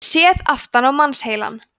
séð aftan á mannsheilann